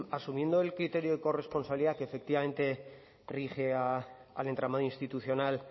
asumiendo el criterio de corresponsabilidad que efectivamente rige al entramado institucional